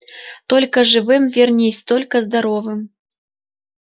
только живым вернись только здоровым